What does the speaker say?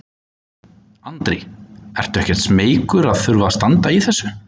Andri: Ertu ekkert smeykur að þurfa að standa í þessu?